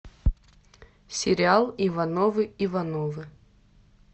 сериал ивановы ивановы